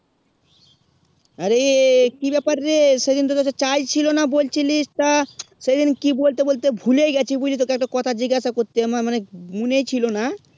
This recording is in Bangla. অরে কি ব্যাপার রে সাজিনত তো তাই ছিল না বলছিলিস তা সে দিন কি বলতে বলতে ভুলে গেছি বহি কয়ে একটু কথা জিগেসা করতে মানে আমার মনে ছিল না